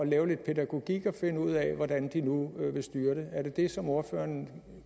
lave lidt pædagogik og finde ud af hvordan de nu vil styre det er det det som ordføreren